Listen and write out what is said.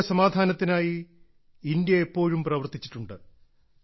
ലോകസമാധാനത്തിനായി India എപ്പോഴും പ്രവർത്തിച്ചിട്ടുണ്ട്